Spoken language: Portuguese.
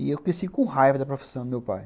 E eu cresci com raiva da profissão do meu pai.